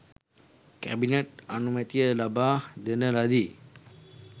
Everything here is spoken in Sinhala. කැබිනට් අනුමැතිය ලබා දෙන ලදී